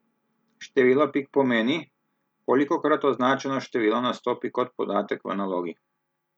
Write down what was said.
Število pik pomeni, kolikokrat označeno število nastopi kot podatek v nalogi.